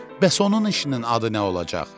Bəs onun işinin adı nə olacaq?